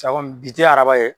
bi tɛ araba ye.